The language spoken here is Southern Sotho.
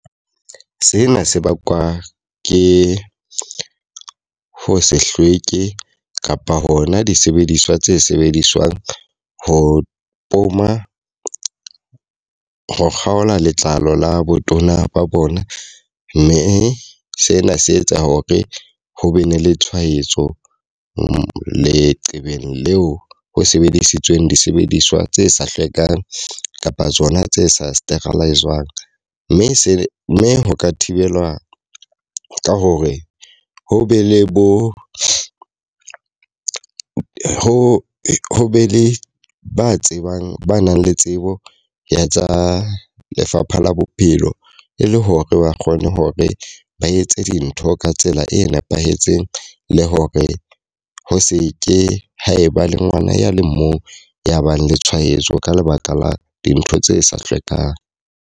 Sena se bakwa ke ho se hlweke kapa hona disebediswa tse sebediswang ho poma, ho kgaola letlalo la botona ba bona. Mme sena se etsa hore ho be ne le tshwaetso leqebeng leo ho sebedisitsweng disebediswa tse sa hlwekang kapa tsona tse sa sterilize-zwang. Mme se mme ho ka thibelwa ka hore ho be le bo ho ho be le ba tsebang ba nang le tsebo ya tsa lefapha la bophelo, e le hore ba kgone hore ba etse dintho ka tsela e nepahetseng, le hore ho se ke ha e ba le ngwana ya le mong ya nang le tshwaetso ka lebaka la dintho tse sa hlwekang.